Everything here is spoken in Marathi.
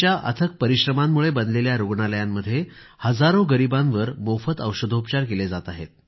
आज त्यांच्या अथक परिश्रमांद्वारे निर्मित रूग्णालयामध्ये हजारो गरीबांवर मोफत औषधोपचार केले जात आहेत